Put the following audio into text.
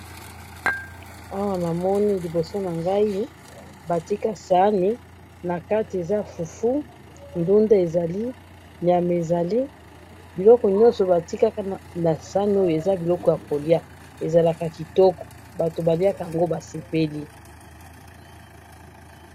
awa namoni bolakisi nangai batika sahani nakati eza fufu ndunda ezali nyama ezali biloko nyoso ba tia na sahani oyo eza biloko yako lia ezalaka kitoko batu ba liakango ba sepeli